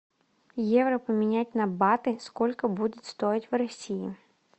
евро поменять на баты сколько будет стоить в россии